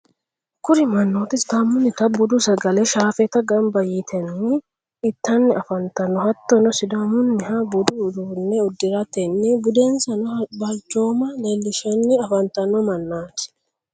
kuri mannoti sidaamunita budu sagale shaafeta gamba yaatenni itanni afantanno. hattonni sidaamunniha budu uduunne uddiratenni budensanna balchooma leellishanni afanttanno mannati.